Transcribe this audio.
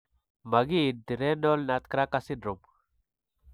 Makiinti renal nutcracker syndrome.